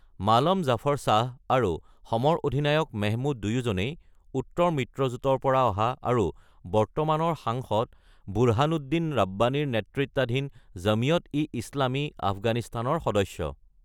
মালম জাফৰ শ্বাহ আৰু যুদ্ধাধিপতি মেহমুদ দুয়োজনেই "উত্তৰ মিত্ৰজোঁট"-ৰ পৰা অহা আৰু বৰ্তমান সাংসদ বুৰহানুদ্দিন ৰাব্বানীৰ নেতৃত্বাধীন জমিয়ত-ই ইছলামী আফগানিস্তানৰ সদস্য।